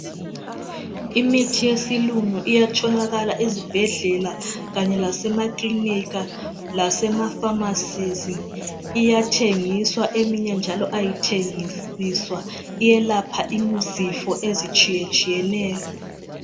Imithi yesilungu iyatholakala ezibhedlela kanye lasemakilinika, lasema"pharmacy".Iyathengiswa eminye njalo ayithengiswa. Iyelapha izifo ezitshiyetshiyeneyo.